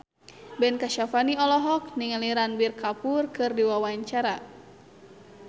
Ben Kasyafani olohok ningali Ranbir Kapoor keur diwawancara